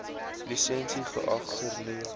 lisensie geag hernu